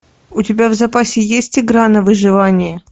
у тебя в запасе есть игра на выживание